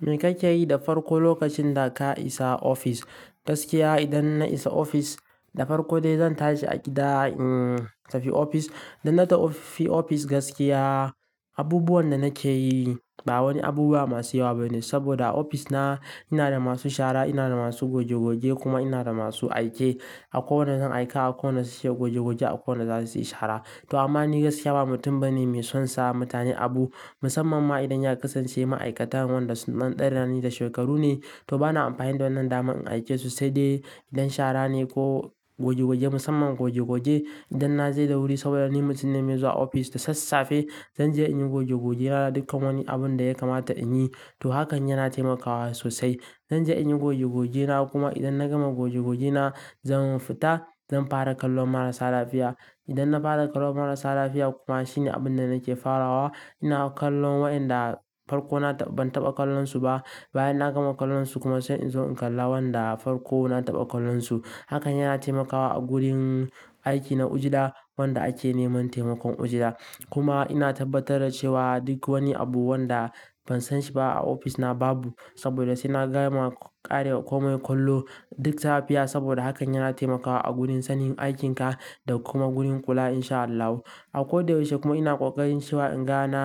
Me kake yi da farko lokacin da ka isa ofis? Gaskiya idan na isa ofis da farko dai zan tashi a gida, intafi ofis. Idan na tafi ofis gaskiya abubuwan da nake yi ba wani abubuwa masu yawa bane saboda ofis na ina da masu shara, ina da masu goge-goge kuma ina da masu aike. Akwai wadanda zan aika, akwai wandan shi zai goge-goge, akwai wanda su yi shara. To amma ni gaskiya ba mutum bane mai son sa mutane abu musamman ma idan ya kasance ma'aikatan wanda sun ɗan rani da shekaru ne, to bana amfani da wannan daman in aike su sai dai idan shara ne ko goge-goge musamman goge-goge. Idan na je da wuri saboda ni mutum ne mai zuwa ofis da sassafe, zan je in yi goge-gogena duka wani abun da ya kamata in yi. To hakan yana taimakawa sosai. Zan je in yi goge-gogena kuma idan na gama goge-gogena zan fita, zan fara kallon marasa lafiya. Idan na fara kallon marasa lafiya kuma shine abun da nake farawa. Ina kallon wa inda farko na ban taɓa kallon su ba. Bayan na gama kallon su kuma sannan in zo in kalla wanda farko na taɓa kallon su. Hakan yana taimakawa a gurin aiki na ujla wanda ake neman taimakon ujla. Kuma ina tabbatar da cewa duk wani abu wanda ban san shi ba a ofis na babu saboda sai na gama ƙare komai kallo duk lafiya saboda hakan yana taimakawa a gurin sanin aikinka da kuma gurin kula in sha Allah. A ko da yaushe kuma ina ƙoƙarin cewa in ga na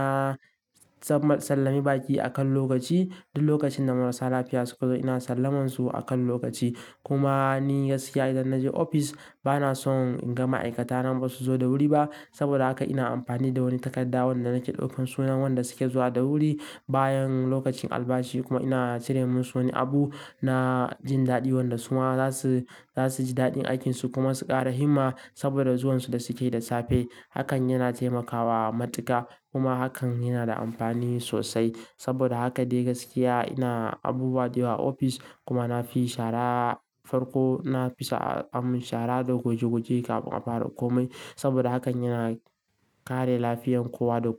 tsamman sallami baƙi akan lokaci. Duk lokacin da marasa lafiya suka zo ina sallaman su akan lokaci. Kuma ni gaskiya idan na je ofis bana son in ga ma'aikatana ba su zo da wuri ba saboda haka ina amfani da wani takarda wanda nake ɗaukan sunayen wadanda suke zuwa da wuri bayan lokacin albashi kuma ina cire musu wani abu. Na jin daɗi wadansu ma za su, za su ji daɗin aikin su kuma su ƙara himma saboda zuwan su da suke yi da safe. Hakan yana taimakawa matuƙa kuma hakan yana da amfani sosai saboda haka dai gaskiya ina abubuwa da yawa a ofis kuma na fi shara farko. Na fi sa mun shara da goge-goge kafin a fara komai saboda hakan yana kare lafiyan kowa da.